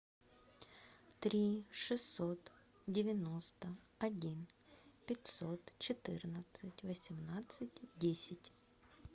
три шестьсот девяносто один пятьсот четырнадцать восемнадцать десять